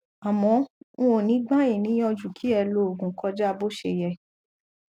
àmọ n ò ní gbà yí níyànjú kí ẹ lòògùn kọjá bó ṣe yẹ